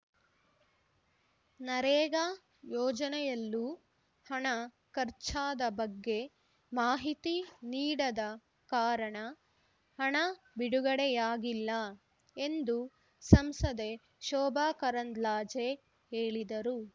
ನರೇಗಾ ಯೋಜನೆಯಲ್ಲೂ ಹಣ ಖರ್ಚಾದ ಬಗ್ಗೆ ಮಾಹಿತಿ ನೀಡದ ಕಾರಣ ಹಣ ಬಿಡುಗಡೆಯಾಗಿಲ್ಲ ಎಂದು ಸಂಸದೆ ಶೋಭಕರಂದ್ಲಾಜೆ ಹೇಳಿದರು